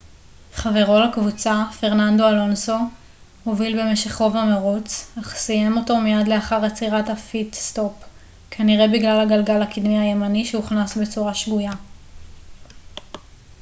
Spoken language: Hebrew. חברו לקבוצה פרננדו אלונסו הוביל במשך רוב המרוץ אך סיים אותו מיד לאחר עצירת הפיט-סטופ כנראה בגלל הגלגל הקדמי הימני שהוכנס בצורה שגויה